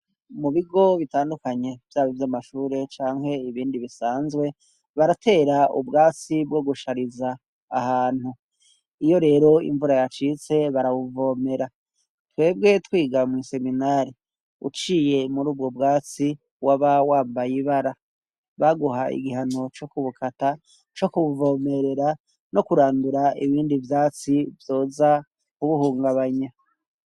Mu bigo bitandukanye vyaba ivy'amashure canke ibindi bisanzwe baratera ubwatsi bwo gushariza ahantu, iyo rero imvura yacitse barabuvomera, twebwe twiga mw'iseminari uciye muri ubwo bwatsi waba wambayibara, baguha igihano co kubukata co kubuvomerera no kurandura ibindi vyatsi vyoza kubuhungabanya.